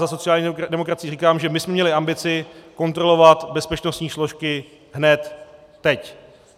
Za sociální demokracii říkám, že my jsme měli ambici kontrolovat bezpečnostní složky hned teď.